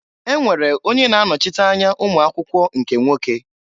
E nwere onye na-anochite anya ụmụakwụkwọ nke nwoke.